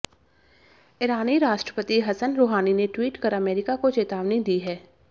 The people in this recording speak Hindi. ईरानी राष्ट्रपति हसन रुहानी ने ट्वीट कर अमेरिका को चेतावनी दी है